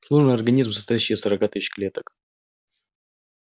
сложный организм состоящий из сорока тысяч клеток